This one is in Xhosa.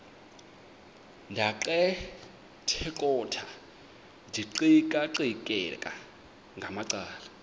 ndaqetheqotha ndiqikaqikeka ngamacala